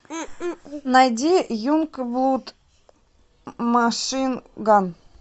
найди юнгблуд машин ган